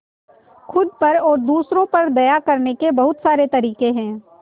खुद पर और दूसरों पर दया करने के बहुत सारे तरीके हैं